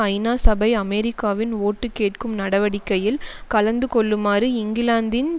ஐநா சபை அமெரிக்காவின் ஓட்டுகேட்கும் நடவடிக்கையில் கலந்துகொள்ளுமாறு இங்கிலாந்தின்